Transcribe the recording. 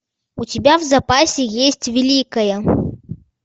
у тебя в запасе есть великая